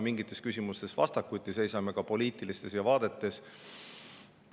Mingites küsimustes me seisame vastakuti, ka poliitilistes vaadetes.